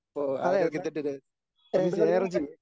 അതേയതേ എനർജി